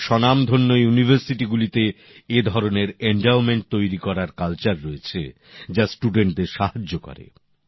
বিশ্বের স্বনামধন্য বিশ্ববিদ্যালয়গুলিতে এ ধরনের এনডাওমেন্ট তৈরি করার সংস্কৃতি রয়েছে যা ছাত্রছাত্রীদের সাহায্য করে